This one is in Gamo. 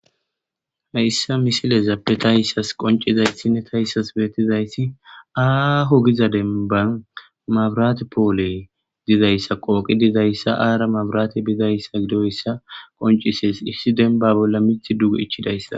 Haysa misilezape tas qoncisizaysine tas beetizaysi aaho gidiza demban mabirate poole eqi dizaysa aara mabratey bizaysa gidoysa qoncises issi demba bola mithi duge ichizaysa.